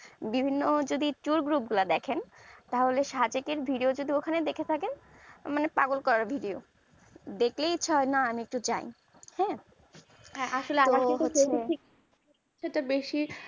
বিভিন্ন যদি tour group গুলা দেখেন তাহলে সাজিক আর video যদি ওখানে দেখে থাকেন মানে পাগল করা video দেখলেই এক হয় না আমি একটু যাই হ্যাঁ তে বেশি